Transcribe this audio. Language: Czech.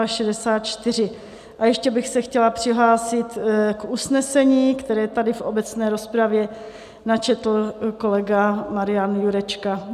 A ještě bych se chtěla přihlásit k usnesení, které tady v obecné rozpravě načetl kolega Marian Jurečka.